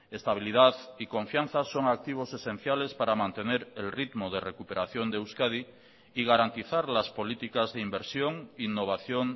estabilidad y confianza son activos esenciales para mantener el ritmo de recuperación de euskadi y garantizar las políticas de inversión innovación